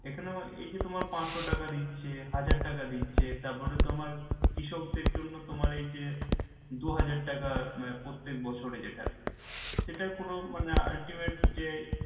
এখানেও এই যে তোমার পাঁচশো টাকা দিচ্ছে হাজার টাকা দিচ্ছে আসলে তোমার কৃষক দের জন্য তোমার এই যে দুহাজার টাকা প্রত্যেক বছরে যেটা সেটা পুরো মানে ultimate যে